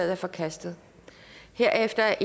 er forkastet herefter